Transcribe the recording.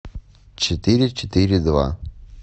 четыре четыре два